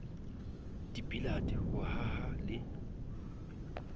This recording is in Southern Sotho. di billiard ho haha le